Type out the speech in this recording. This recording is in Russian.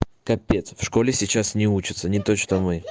капец в школе сейчас не учатся не то что мы